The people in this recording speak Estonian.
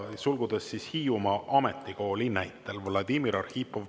Vladimir Arhipov, palun!